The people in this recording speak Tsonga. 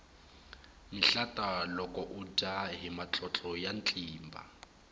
mihlata loko udya hi matlotlo ya tlimba